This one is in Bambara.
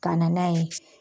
Kana n'a ye